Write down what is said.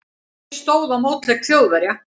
Ekki stóð á mótleik Þjóðverja.